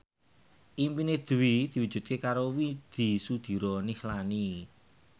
impine Dwi diwujudke karo Widy Soediro Nichlany